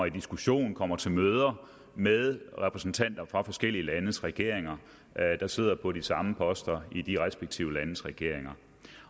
i diskussioner og kommer til møder med repræsentanter for forskellige landes regeringer der sidder på de samme poster i de respektive landes regeringer